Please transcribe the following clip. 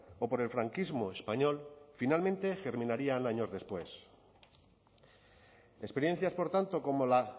o por el franquismo español finalmente germinaría años después experiencias por tanto como la